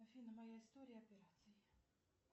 афина моя история операций